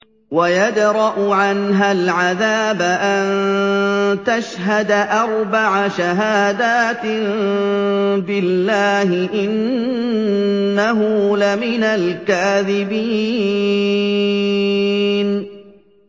وَيَدْرَأُ عَنْهَا الْعَذَابَ أَن تَشْهَدَ أَرْبَعَ شَهَادَاتٍ بِاللَّهِ ۙ إِنَّهُ لَمِنَ الْكَاذِبِينَ